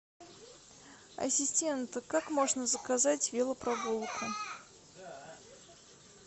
ассистент как можно заказать велопрогулку